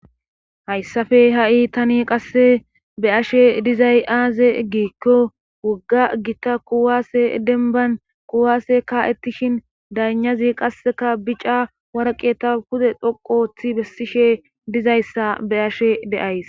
hayssafe ha7i tani qasse be7ashe dizay aaze eggikko wogga gita kuwaase denban kuwaase kaa7ettishin daynazi qasseka bica woykko galal7o waraqata pude dhoqu othidi bessishe dizayssa be7ashe de7ays